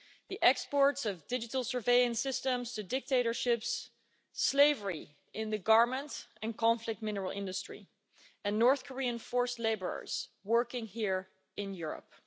The exports of digital surveillance systems to dictatorships, slavery in the garment and conflict minerals industry, and North Korean forced labourers working here in Europe.